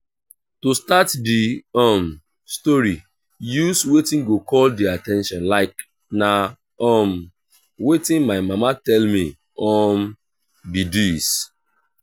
to start di um story use wetin go call their at ten tion like 'na um wetin my mama tell me um be this'